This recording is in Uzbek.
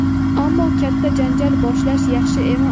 Ammo katta janjal boshlash yaxshi emas.